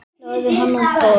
Lagði hann á borð.